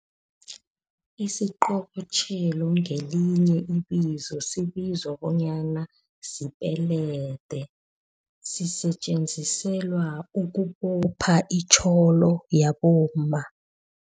Isiqobotjhelo ngelinye ibizo, sibizwa bonyana sipelede, sisetjenziselwa ukubopha itjholo yabomma.